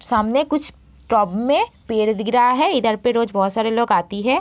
सामने कुछ में पेड़ दिख रहा है इधर पे रोज बहोत से लोग आती है।